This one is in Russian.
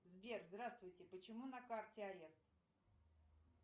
сбер здравствуйте почему на карте арест